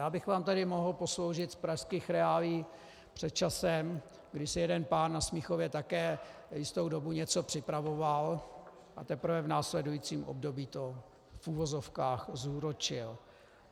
Já bych vám tady mohl posloužit z pražských reálií před časem, kdy si jeden pán na Smíchově také jistou dobu něco připravoval, a teprve v následujícím období to, v uvozovkách, zúročil.